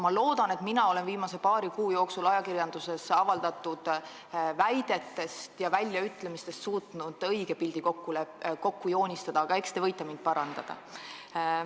Ma loodan, et mina olen viimase paari kuu jooksul ajakirjanduses avaldatud väidetest ja väljaütlemistest suutnud õige pildi kokku joonistada, aga eks te võite mind parandada.